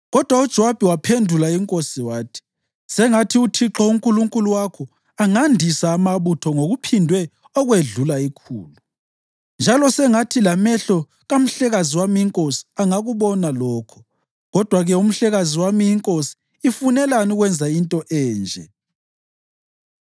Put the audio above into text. Kodwa uJowabi waphendula inkosi wathi, “Sengathi uThixo uNkulunkulu wakho angandisa amabutho ngokuphindwe okwedlula ikhulu, njalo sengathi lamehlo kamhlekazi wami inkosi angakubona lokho. Kodwa-ke umhlekazi wami inkosi ifunelani ukwenza into enje?”